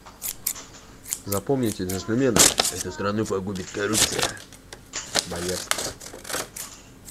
запомните джентльмены эту страну погубит коррупция боярский